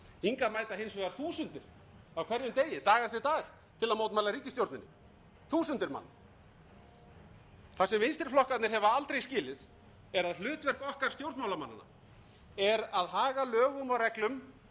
hingað mæta hins vegar þúsundir á hverjum degi dag eftir dag til að mótmæla ríkistjórninni þúsundir manna það sem vinstri flokkarnir hafa aldrei skilið er að hlutverk okkar stjórnmálamannanna er að haga lögum og reglum